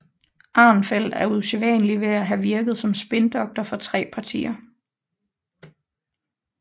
Arnfeldt er usædvanlig ved at have virket som spindoktor for tre partier